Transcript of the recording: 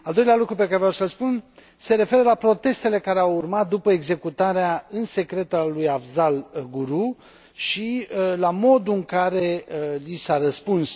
Al doilea lucru pe care vreau să l spun se referă la protestele care au urmat după executarea în secret a lui Afzal Guru și la modul în care li s a răspuns.